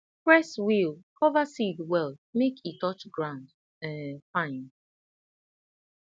press wheel cover seed well make e touch ground um fine